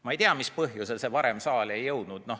Ma ei tea, mis põhjusel see varem saali ei jõudnud.